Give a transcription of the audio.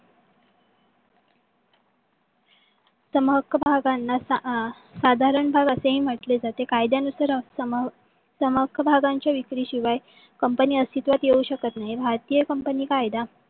सम हक्क भागांना आह साधारण भाग असेही म्हटले जाते. कायद्यानुसार सम हक्क भागांच्या विक्री शिवाय company अस्तित्वात येऊ शकत नाही. भारतीय company कायदा